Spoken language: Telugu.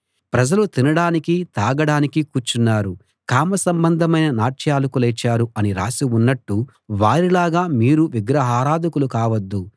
ప్రజలు తినడానికీ తాగడానికీ కూర్చున్నారు కామసంబంధమైన నాట్యాలకు లేచారు అని రాసి ఉన్నట్టు వారిలాగా మీరు విగ్రహారాధకులు కావద్దు